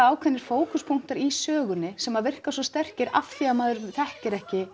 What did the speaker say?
ákveðnir fókuspunktar í sögunni sem virka svo sterkir af því að maður þekkir ekki